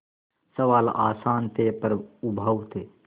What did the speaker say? सवाल आसान थे पर उबाऊ थे